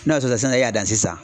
N'a sɔrɔ la sisan e y'a dan sisan.